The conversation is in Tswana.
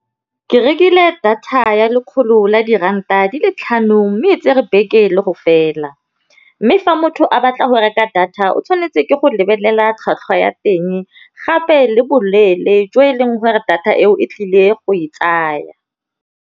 Ke rekile data ya lekgolo la diranta di le tlhano mme e tsere beke le go fela, mme fa motho a batla go reka data o tshwanetse ke go lebelela tlhwatlhwa ya teng, gape le boleele jo e leng gore data eo e tlile go e tsaya.